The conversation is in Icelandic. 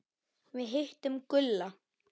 Við hittum Gulla.